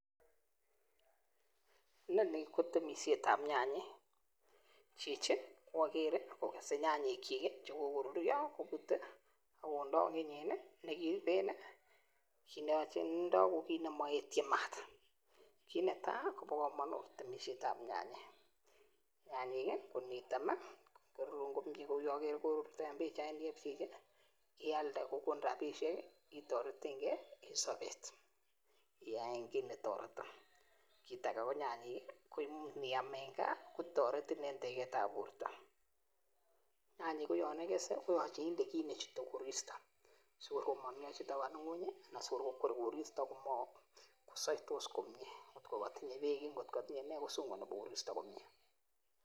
Ninoni ko temisiet ab nyanyek ni kochi kokesei nyanyek chik chekokorurio kubut akondoi kinyin nekiibei ki neindoi ko ki nemaetyin maat kit netai kobo kamanut temisiet ab nyanyek kit netai kouyo karuryo eng pichaini ko ngialde inyoru robinik itoretenkei eng sabet Ake KO much iam nyanyek ako toretin eng borto akoyanikesei inde ki nechutei koristo si komangemakis kosaitos komye ngotko katinye bek kosaitos komye ak koristo